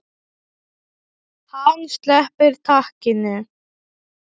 Hann sleppir takinu.